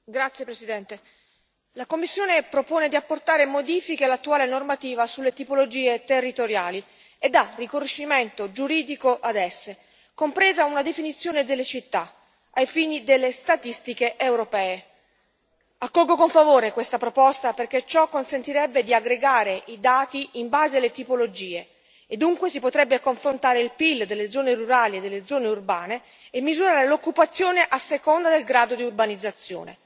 Signora Presidente, onorevoli colleghi, la Commissione propone di apportare modifiche all'attuale normativa sulle tipologie territoriali e dà riconoscimento giuridico ad esse, compresa una definizione delle città, ai fini delle statistiche europee. Accolgo con favore questa proposta perché ciò consentirebbe di aggregare i dati in base alle tipologie, e dunque si potrebbe confrontare il PIL delle zone rurali e delle zone urbane e misurare l'occupazione a seconda del grado di urbanizzazione.